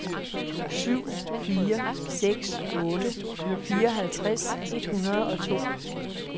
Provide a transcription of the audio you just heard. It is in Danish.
syv fire seks otte fireoghalvtreds et hundrede og to